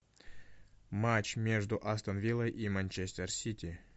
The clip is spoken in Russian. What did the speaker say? матч между астон виллой и манчестер сити